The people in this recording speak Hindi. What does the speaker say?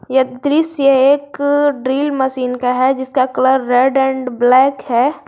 यह दृश्य से एक ड्रिल मशीन का है जिसका कलर रेड एंड ब्लैक है।